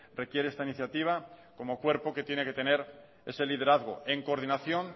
requiere esta iniciativa como cuerpo que tiene que tener ese liderazgo en coordinación